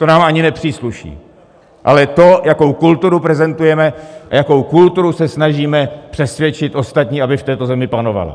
To nám ani nepřísluší, ale to, jakou kulturu prezentujeme a jakou kulturu se snažíme přesvědčit ostatní, aby v této zemi panovala.